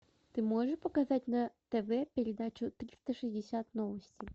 ты можешь показать на тв передачу триста шестьдесят новости